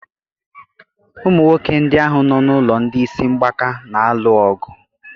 Ụmụ nwoke ndị ahụ nọ n'ụlọ ndị isi mgbaka na-alụ ọgụ.